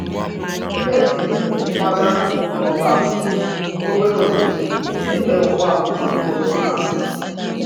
E si m kwaga Omoba, obere obodo ebe ụgbọ oloko na-apụ.